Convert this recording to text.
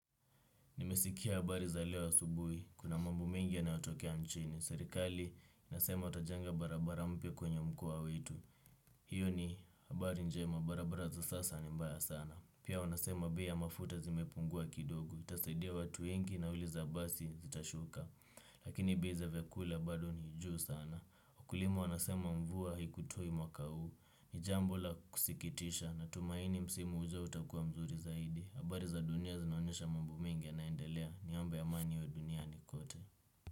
Nimesikia habari za leo asubuhi, kuna mambo mengi yanayotokea nchini. Serikali inasema watajenga barabara mpya kwenye mkoa wetu. Hiyo ni habari njema, barabara za sasa ni mbaya sana. Pia wanasema bei za mafuta zimepungua kidogo. Itasaidia watu wengi nauli za basi zitashuka. Lakini bei za vyakula bado ni juu sana. Wakulima wanasema mvua haikutoi mwaka huu. Ni jambo la kusikitisha na tumaini msimu ujao utakua mzuri zaidi. Habari za dunia zinaonyesha mambo mingi yanaendelea niombe amani iwe duniani kote.